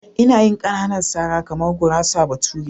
Ina yin ƙananan sara kamar gurasar bature.